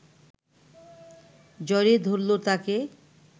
জ্বরে ধরল তাকে